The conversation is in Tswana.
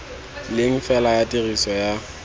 leng fela ya tiriso ya